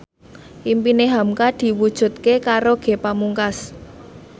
impine hamka diwujudke karo Ge Pamungkas